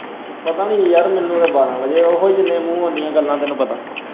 ਪਤਾ ਨਹੀਂ ਯਾਰ ਮੈਨੂੰ ਤੇ ਬਾਰਾਂਹ ਵਜੇ ਉਹੀ ਜਿੰਨੇ ਮੂੰਹ ਉੰਨੀਆਂ ਗੱਲਾਂ ਤੈਨੂੰ ਪਤਾ।